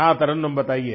हाँ तरन्नुम बताइए